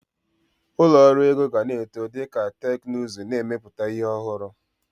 Ụlọ ọrụ ego gana eto dika teknuzu n'emeputa ihi ọhụrụ.